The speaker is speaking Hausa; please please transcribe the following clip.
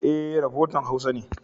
E, rafotan Hausa ne.